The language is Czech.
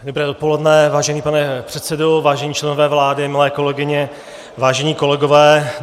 Dobré dopoledne, vážený pane předsedo, vážení členové vlády, milé kolegyně, vážení kolegové.